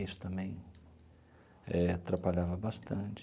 Isso também eh atrapalhava bastante.